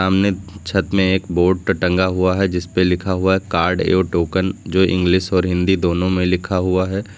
सामने अंदर छत में एक बोर्ड ट टंगा हुआ है जिसपे लिखा हुआ है कार्ड एव टोकन जो इंग्लिश और हिंदी दोनों में लिखा हुआ है।